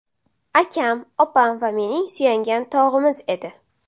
Akam opam va mening suyangan tog‘imiz edi.